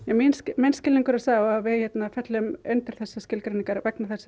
minn skilningur er sá að við föllum undir þessar skilgreiningar vegna þess